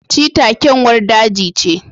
cheetah kyanwar daji ce